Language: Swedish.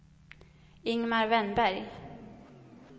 Ingemar Wennberg